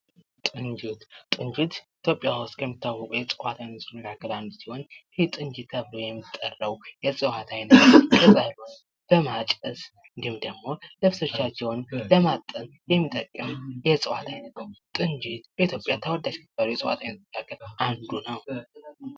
ጡንጅት፦ ጡንጅት በኢትዮጵያ ውስጥ ከሚታወቁ የእፅዋት አይነቶች መካከል አንዱ ሲሆን ይህ ጡንጅት የምንለው የእፅዋት አይነት በማጨስ እንዲሁም ደግሞ ለማጠን የሚጠቅም የእፅዋት አይነት ነው ጡንጅት በኢትዮጵያ ተወዳጅ ከሚባሉት እፅዋቶች መካከል አንዱ ነው።